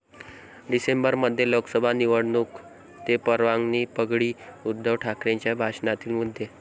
डिसेंबरमध्ये लोकसभा निवडणूक ते पवारांची पगडी, उद्धव ठाकरेंच्या भाषणातील मुद्दे